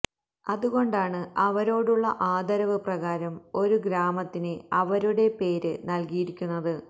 അതുകൊണ്ടാണ് അവരോടുള്ള ആദരവ് പ്രകാരം ഒരു ഗ്രാമത്തിന് അവരുടെ പേര് നല്കിയിരിക്കുന്നത്